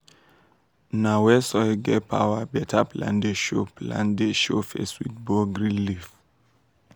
na where soil get power beta plant dey show plant dey show face with bold green leaf.